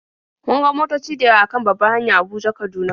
Mun ga motoci da yawa a kan babbar hanya Abuja-Kaduna.